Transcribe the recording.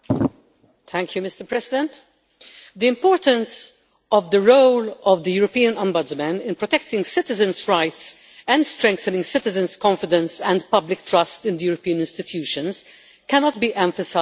Mr President, the importance of the role of the European Ombudsman in protecting citizens' rights and strengthening citizens' confidence and public trust in the European institutions cannot be emphasised enough.